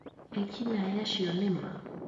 Ekinaĩ acio nĩ ma?